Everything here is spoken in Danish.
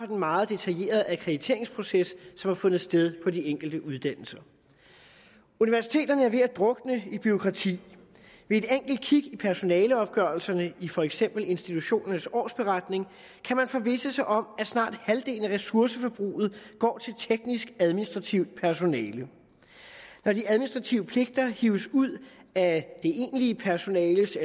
den meget detaljerede akkrediteringsproces som har fundet sted på de enkelte uddannelser universiteterne er ved at drukne i bureaukrati ved et enkelt kig i personaleopgørelserne i for eksempel institutionernes årsberetning kan man forvisse sig om at snart halvdelen af ressourceforbruget går til teknisk administrativt personale når de administrative pligter hives ud af det egentlige personales